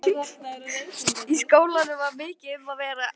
Í skólanum var mikið um að vera.